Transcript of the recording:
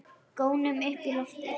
Gónum upp í loftið.